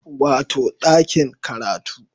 Wato ɗakin karatu